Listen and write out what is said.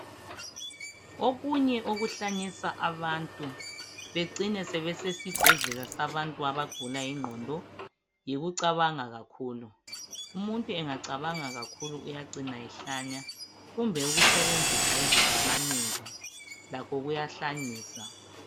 Okunye okuhlanyisa abantu becine sebesesibhedlela sabantu abagula ingqondo yikucabanga kakhulu, umuntu engacabanga kakhulu uyacina ehlanya kumbe usebenzisa izidakamizwa lakho kuyahlanyisa